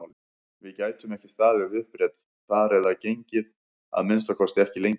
Við gætum ekki staðið upprétt þar eða gengið, að minnsta kosti ekki lengi!